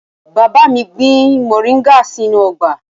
Bàbá mi gbìn moringa sínú ọgbà.